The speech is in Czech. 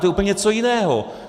To je úplně něco jiného.